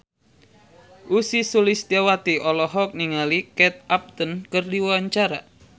Ussy Sulistyawati olohok ningali Kate Upton keur diwawancara